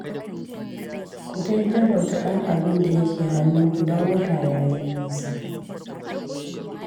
Ku dai jalauta ɗan abin da yake hannunku, don wata ya yi nisa (jalauta-manage)